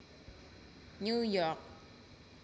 New York